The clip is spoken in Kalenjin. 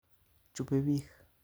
Chube bik